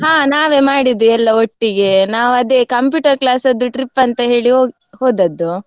ಹಾ ನಾವೇ ಮಾಡಿದ್ದು ಎಲ್ಲ ಒಟ್ಟಿಗೆ ನಾವದೇ computer class ಅದ್ದು trip ಅಂತ ಹೇಳಿ ಹೊ~ ಹೋದದ್ದು.